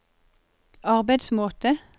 arbeidsmåte